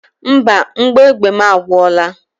Mba, mgbọ egbe mụ agwụla.